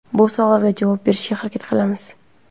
Bu savollarga javob berishga harakat qilamiz.